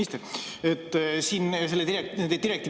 Austatud minister!